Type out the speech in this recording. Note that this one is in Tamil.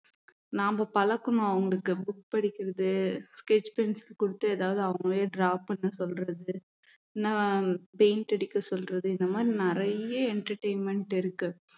நாம பழக்கணும் அவங்களுக்கு book படிக்கிறது sketch pencil கொடுத்து ஏதாவது அவங்களையே draw பண்ண சொல்றது இல்லின்னா paint அடிக்க சொல்றது இந்த மாரி நிறைய entertainment இருக்கு